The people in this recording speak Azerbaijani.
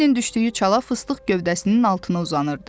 Bembilin düşdüyü çala fıstıq gövdəsinin altına uzanırdı.